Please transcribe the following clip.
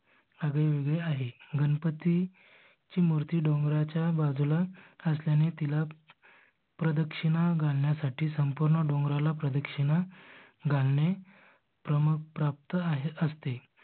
आगळे वेगळे आहे. गणपती ची मूर्ति डोंगराच्या बाजूला घासल्याने तिला प्रदक्षिणा घालण्यासाठी पूर्ण डोंगराला प्रदक्षिणा घालणे क्रम प्राप्त आहे असते.